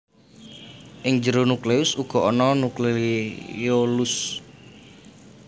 Ing njero nukleus uga ana nukleolus